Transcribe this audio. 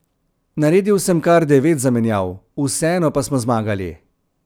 Naredil sem kar devet zamenjav, vseeno pa smo zmagali.